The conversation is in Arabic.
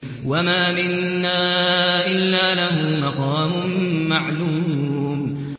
وَمَا مِنَّا إِلَّا لَهُ مَقَامٌ مَّعْلُومٌ